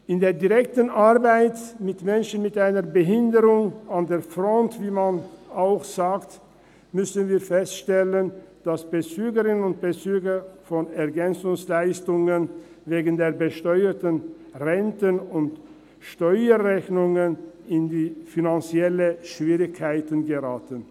In der direkten Arbeit mit Menschen mit einer Behinderung – an der Front, wie man auch sagt – müssen wir feststellen, dass Bezügerinnen und Bezüger von EL wegen der besteuerten Renten und Steuerrechnungen in finanzielle Schwierigkeiten geraten.